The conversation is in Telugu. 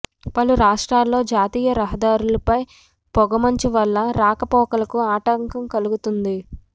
పలు రాష్ట్రాల్లో జాతీయ రహదారులపై పొగమంచు వల్ల రాకపోకలకు ఆటంకం కలుగుతోంది